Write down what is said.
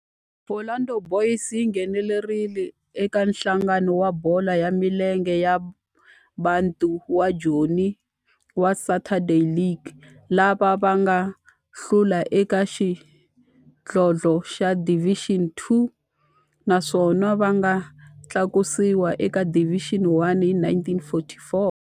Orlando Boys yi nghenelerile eka Nhlangano wa Bolo ya Milenge wa Bantu wa Joni wa Saturday League, laha va nga hlula eka xidlodlo xa Division Two naswona va nga tlakusiwa eka Division One hi 1944.